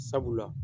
Sabula